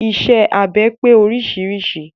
Iṣẹ́ abẹ pé oríṣiríṣi.